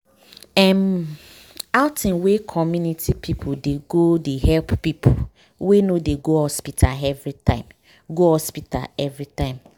erm wait- outing wey community people dey go they help people wey no dey go hospital everytime. go hospital everytime.